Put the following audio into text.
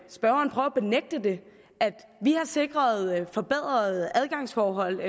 spørgeren prøver at benægte det at vi har sikret forbedrede adgangsforhold